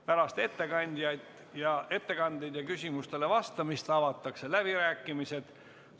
Pärast ettekandeid ja küsimustele vastamist avatakse läbirääkimised.